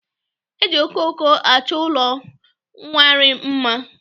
E ji okooko achọ ụlọ nkwari mma.